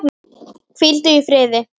Hvíldu í friði.